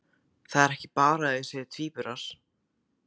Það er ekki bara að þau séu tvíburar.